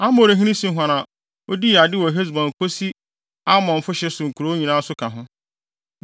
Amorihene Sihon a odii ade wɔ Hesbon kosi Amonfo hye so nkurow nyinaa nso ka ho.